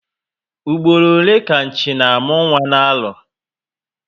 Mgboro ole ka Nchi na amụ nwa na arọ?